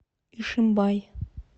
ишимбай